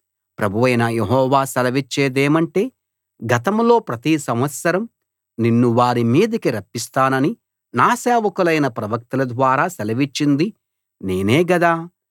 ప్రభువైన యెహోవా సెలవిచ్చేదేమంటే గతంలో ప్రతి సంవత్సరం నిన్ను వారిమీదికి రప్పిస్తానని నా సేవకులైన ప్రవక్తల ద్వారా సెలవిచ్చింది నేనే గదా